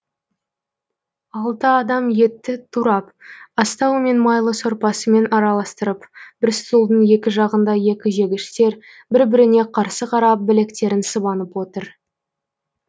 алты адам етті турап астаумен майлы сорпасымен араластырып бір стулдың екі жағында екі жегіштер бір біріне қарсы қарап білектерін сыбанып отыр